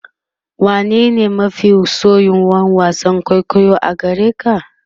wane ne mafi soyuwan wasan kwaikwayo a gareka?